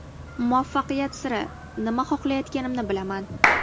Muvaffaqiyat siri: Nima xohlayotganimni bilaman.